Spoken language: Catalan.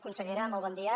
consellera molt bon dia